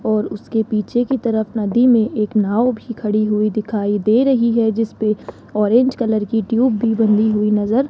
और उसके पीछे की तरफ नदी मे एक नांव भी खड़ी हुई दिखाई दे रही है जिसपे ऑरेंज कलर की ट्यूब भी बंधी हुई नजर --